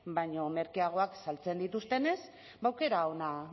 baino merkeagoak saltzen dituztenez ba aukera onak